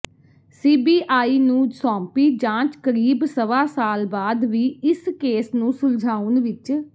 CBI ਨੂੰ ਸੌਂਪੀ ਜਾਂਚ ਕਰੀਬ ਸਵਾ ਸਾਲ ਬਾਅਦ ਵੀ ਇਸ ਕੇਸ ਨੂੰ ਸੁਲਝਾਉਣ ਵਿਚ